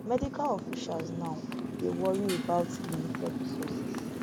medical officials now dey wory about limited resources